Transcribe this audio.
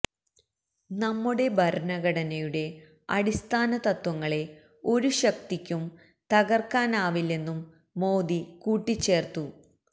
നമ്മുടെ ഭരണഘടനയുടെ അടിസ്ഥാന തത്വങ്ങളെ ഒരു ശക്തിക്കും തകർക്കാനാവില്ലെന്നും മോദി കൂട്ടിച്ചേർത്തു